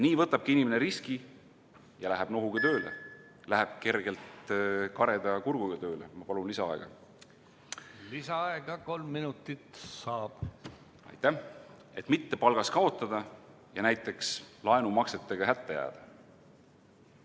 Nii võtabki inimene riski ja läheb nohuga tööle, läheb kergelt kareda kurguga tööle, et mitte palgas kaotada ja näiteks laenumaksetega hätta jääda.